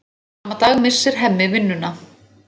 Sama dag missir Hemmi vinnuna.